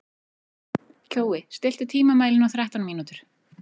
Kjói, stilltu tímamælinn á þrettán mínútur.